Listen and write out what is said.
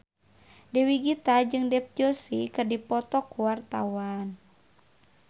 Dewi Gita jeung Dev Joshi keur dipoto ku wartawan